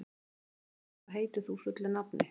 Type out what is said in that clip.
Stígrún, hvað heitir þú fullu nafni?